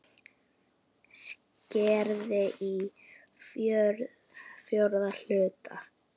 Skerið í fjóra hluta.